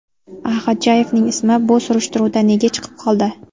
A. Xodjayevning ismi bu surishtiruvda nega chiqib qoldi?